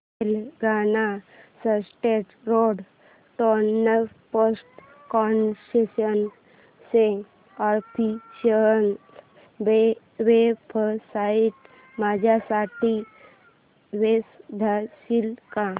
Telangana state road transport corporation ची official website माझ्यासाठी शोधशील का